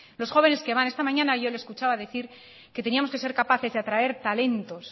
los jóvenes que van esta mañana yo le escuchaba decir que teníamos que ser capaces de atraer talento